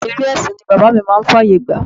Eré ẹsin ni bàbá mi máa ń fàyè gbà.